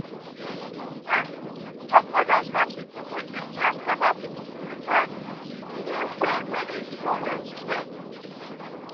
ah doctors and nurses suppose dey ask about people spiritual needs in a way wey dey show respect.